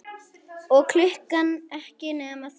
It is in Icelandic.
Og klukkan ekki nema þrjú.